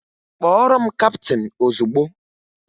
Kpọọrọ m kaptịn ozugbo!